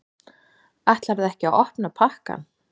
Ætlarðu ekki að opna pakkann?